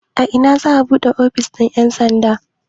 A ina za'a buɗe ofishin ƴan sandan?